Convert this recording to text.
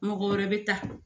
Mɔgɔ wɛrɛ bɛ taa